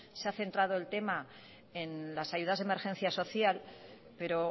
se ha centrado el tema en las ayudas de emergencia social pero